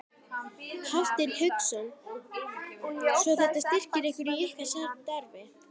Hafsteinn Hauksson: Svo þetta styrkir ykkur í ykkar starfi?